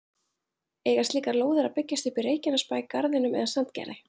Eiga slíkar lóðir að byggjast upp í Reykjanesbæ, Garðinum eða Sandgerði?